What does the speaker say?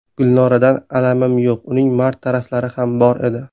Gulnoradan alamim yo‘q, uning mard taraflari ham bor edi.